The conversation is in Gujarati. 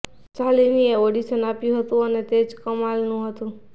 શાલિનીએ ઓડિશન આપ્યું હતું અને તે ઘણું જ કમાલનું હતું